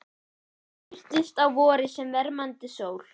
Hún birtist á vori sem vermandi sól